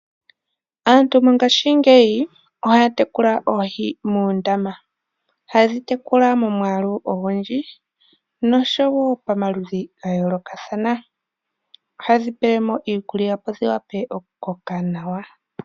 Aantu mongashingeyi ohaya tekula oohi muundama, ohaye dhi tekula momwaaau ogundji nosho wo pomaludhi ga yoolokathana. Ohaye dhi pele mo iikulya opo dhi wape okukoka nawa.